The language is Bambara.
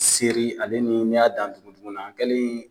Seri ale ni ni y'a dan kɛlen